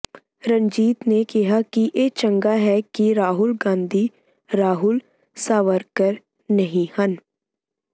ਰਣਜੀਤ ਨੇ ਕਿਹਾ ਕਿ ਇਹ ਚੰਗਾ ਹੈ ਕਿ ਰਾਹੁਲ ਗਾਂਧੀ ਰਾਹੁਲ ਸਾਵਰਕਰ ਨਹੀਂ ਹਨ